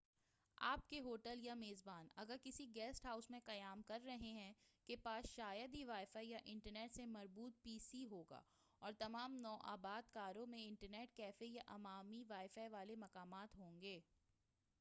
آپکے hotel یا میزبان اگر کسی گیسٹ ہاوٴس میں قیام کر رہے ہیں کے پاس شاید ہی وائی فائی یا انٹرنیٹ سے مربوط پی سی ہوگا، اور تمام نو آبادکاروں میں انٹرنیٹ کیفے یا عوامی وائی فائی والے مقامات ہوں گے۔